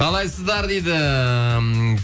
қалайсыздар дейді